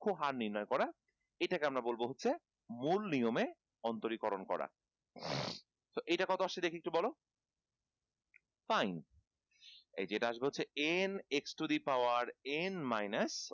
হার নির্নয় করা এটাকে আমরা বলব হচ্ছে মূল নিয়মে অন্তরীকরণ করা so এইটা কত আসছে দেখি একটু বল fine এই যে এটা আসবে হচ্ছে n x to the power n minus